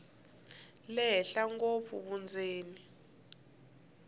le henhla ngopfu vundzeni